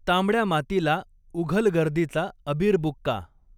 तांबड्या मातीला उघल गर्दीचा अबीर बुक्का